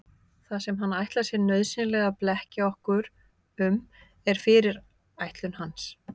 Það sem hann ætlar sér nauðsynlega að blekkja okkur um er fyrirætlun hans.